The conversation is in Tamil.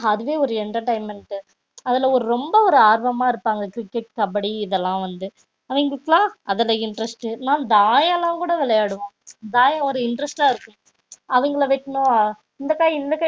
அதுவே வந்து ஒரு entertainment டு அதுல வந்து ரொம்ப ஆர்வமா இருப்பாங்க cricket கபடி இதலாம் வந்து அவங்களுக்குலாம் அதுல interest டு நா தாயம் லா கூட விளையாடுவோம் தாயம் ஒரு interest டா இருக்கும் அவங்கல இந்த காய் இந்த